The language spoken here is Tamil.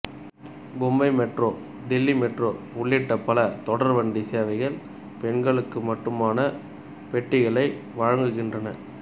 மும்பை மெட்ரோ தில்லி மெட்ரோ உள்ளிட்ட பல தொடர்வண்டி சேவைகள் பெண்களுக்கு மட்டுமான பெட்டிகளை வழங்குகின்றன